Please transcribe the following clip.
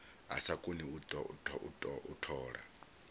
a sa koni u tola